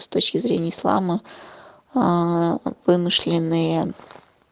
с точки зрения ислама аа вымышленные